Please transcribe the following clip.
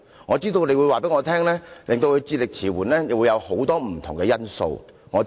我知道你會告訴我，他智力遲緩有很多不同的因素。